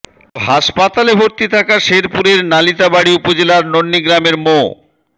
কিন্তু হাসপাতালে ভর্তি থাকা শেরপুরের নালিতাবাড়ী উপজেলার নন্নী গ্রামের মো